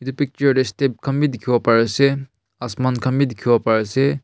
etu picture teh step khan bhi dikhi bo pare ase asman khan bhi dekhi bo pare ase.